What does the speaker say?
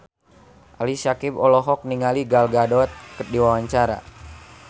Ali Syakieb olohok ningali Gal Gadot keur diwawancara